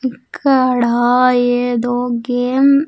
ఇక్కడ ఏదో గేమ్ .